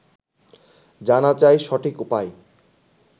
জানা চাই সঠিক উপায়